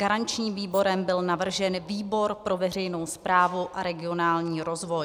Garančním výborem byl navržen výbor pro veřejnou správu a regionální rozvoj.